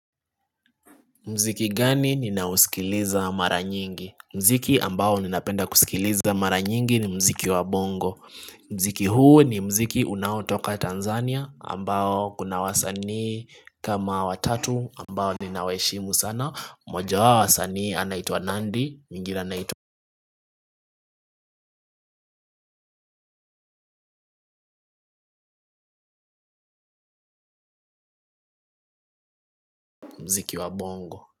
Mziki gani ninausikiliza mara nyingi. Mziki ambao ninapenda kusikiliza mara nyingi ni mziki wa bongo. Mziki huu ni mziki unaotoka Tanzania ambao kuna wasanii. Kama watatu ambao ninaweshimu sana. Moja wao wasani anaitwa Nandi, mwingine anaitwa mziki wa bongo.